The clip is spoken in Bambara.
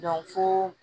fo